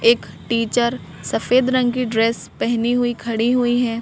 एक टीचर सफेद रंग की ड्रेस पहनी हुई खड़ी हुई हैं।